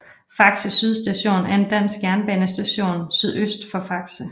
Faxe Syd Station er en dansk jernbanestation sydøst for Faxe